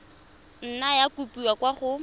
nna ya kopiwa kwa go